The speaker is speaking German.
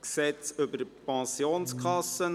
Gesetz über die Pensionskassen».